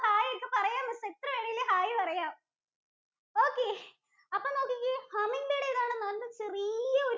hai ഒക്കെ പറയാം miss എത്ര വേണേലും hair പറയാം okay അപ്പൊ നോക്കിക്കേ? Humming bird ഏതാണ് ചെറിയ ഒരു